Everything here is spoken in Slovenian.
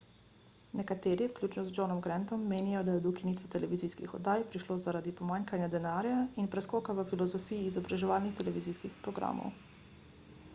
nekateri vključno z johnom grantom menijo da je do ukinitve televizijskih oddaj prišlo zaradi pomanjkanja denarja in preskoka v filozofiji izobraževalnih televizijskih programov